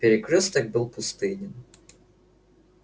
перекрёсток был пустынен